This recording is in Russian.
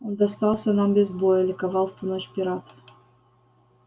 он достался нам без боя ликовал в ту ночь пират